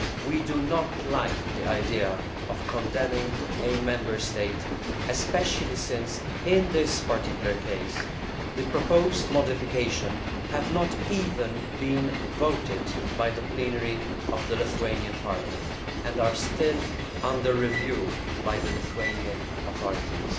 We do not like the idea of condemning a Member State, especially since, in this particular case, the proposed modifications have not even been voted on by the plenary of the Lithuanian Parliament and are still under review by the Lithuanian authorities.